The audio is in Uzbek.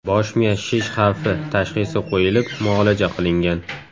Bosh miya shish xavfi” tashxisi qo‘yilib, muolaja qilingan.